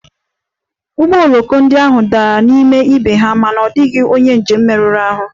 Ụgbọ oloko ndị ahụ dara n'ime ibe ha mana ọ dịghị onye njem merụrụ ahụ